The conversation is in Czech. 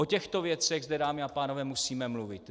O těchto věcech zde, dámy a pánové, musíme mluvit!